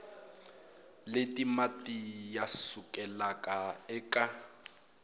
leti mati ya sukelaka eka